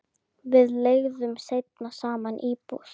Við leigðum seinna saman íbúð.